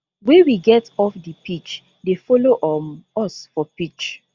wey we get off di pitch dey follow um us for pitch